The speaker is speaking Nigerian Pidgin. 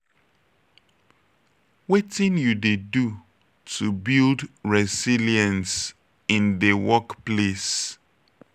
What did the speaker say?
wetin you dey do to build resilience in dey workplace?